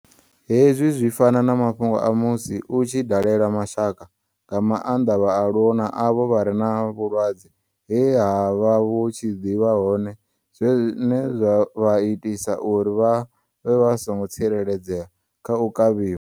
Hezwi zwi fana na ma fhungo a musi u tshi dalela mashaka, nga maanḓa vhaaluwa na avho vha re na vhulwadze he ha vha vhu tshi ḓi vha hone zwine zwa vha itisa uri vha vhe vha songo tsireledzea kha u nga kavhiwa.